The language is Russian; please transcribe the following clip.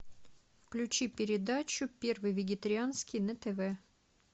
включи передачу первый вегетарианский на тв